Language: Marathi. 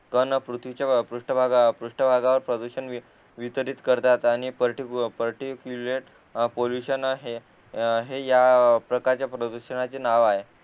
तर पृथ्वीच्या पृष्ठ भागावर पृष्ठ भागावर प्रदूषण वितरीत करतात आणि पर्टी पर्टीक्युलेट पोल्युशन हे हे या प्रकारच्या प्रदूषणाचे नाव आहेत